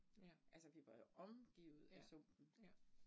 Ja. Ja, ja